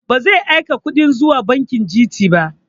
Ba zai aika kuɗin zuwa banki Gt ba